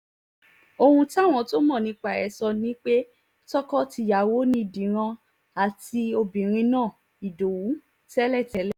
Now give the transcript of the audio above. ohun táwọn tó mọ̀ nípa ẹ̀ sọ ni pé tọkọ-tìyàwó ni díran àti obìnrin náà ìdowu tẹ́lẹ̀tẹ́lẹ̀